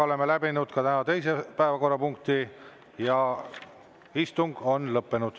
Oleme läbinud ka tänase teise päevakorrapunkti ja istung on lõppenud.